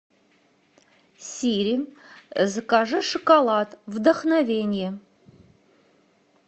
сири закажи шоколад вдохновение